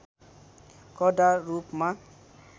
कडा रूपमा